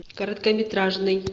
короткометражный